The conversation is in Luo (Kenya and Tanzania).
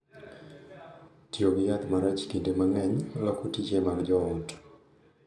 Tiyo gi yath marach kinde mang’eny loko tije mag jo ot,